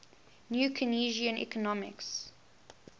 new keynesian economics